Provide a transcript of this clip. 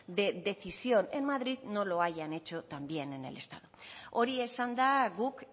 de decisión en madrid no lo hayan hecho también en el estado hori esanda guk